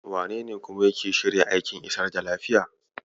Wanene kuma yake shirya aikin isar da lafiya?